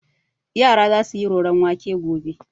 Yara za su yi roron wake gobe.